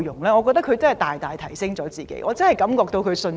我覺得他們大大提升了自己的水平，重拾信心。